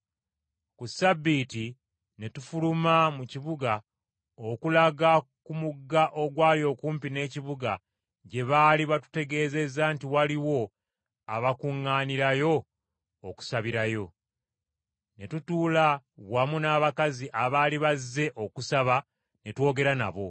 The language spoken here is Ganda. Ku Ssabbiiti ne tufuluma mu kibuga okulaga ku mugga ogwali okumpi n’ekibuga gye baali batutegeezezza nti waliwo abakuŋŋaanirayo okusabirayo. Ne tutuula wamu n’abakazi abaali bazze okusaba ne twogera nabo.